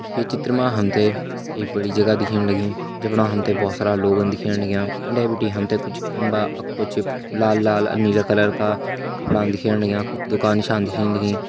ये चित्र मा हम ते एक बड़ी जगह दिखेण लगीं जफणा हम ते बहोत सारा लोग दिखेण लग्यां उंडे बिटि हम ते कुछ खम्बा अर कुछ लाल लाल अर नीला कलर का वफणा दिखेण लग्यां कुछ दुकान नीसाण दिखेण लगीं।